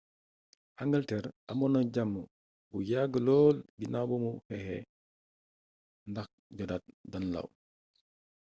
angalter amoon na jàmm bu yàgg lool ginaaw bu xeexé ndax jotaat danelaw